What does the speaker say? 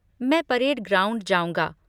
मैं parade ground जाऊँगा।